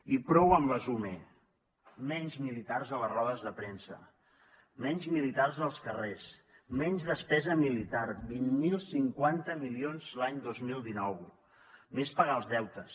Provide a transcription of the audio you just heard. i prou amb les ume menys militars a les rodes de premsa menys militars als carrers menys despesa militar vint mil cinquanta milions l’any dos mil dinou més pagar els deutes